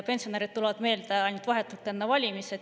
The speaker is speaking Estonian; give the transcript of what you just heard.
Pensionärid tulevad meelde ainult vahetult enne valimisi.